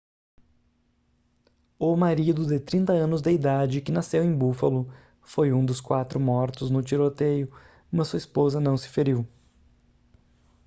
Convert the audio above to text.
o marido de 30 anos de idade que nasceu em buffalo foi um dos quatro mortos no tiroteio mas sua esposa não se feriu